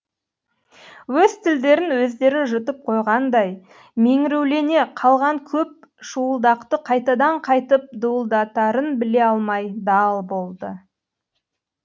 өз тілдерін өздері жұтып қойғандай меңіреулене қалған көп шуылдақты қайтадан қайтып дуылдатарын біле алмай дал болды